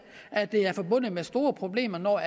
at det er forbundet med store problemer når